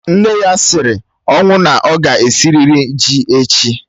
Nne ya siri ọnwụ na ọ ga-esirịrị ji echi